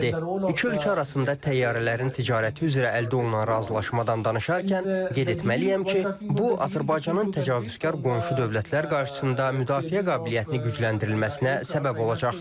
İki ölkə arasında təyyarələrin ticarəti üzrə əldə olunan razılaşmadan danışarkən qeyd etməliyəm ki, bu, Azərbaycanın təcavüzkar qonşu dövlətlər qarşısında müdafiə qabiliyyətinin gücləndirilməsinə səbəb olacaq.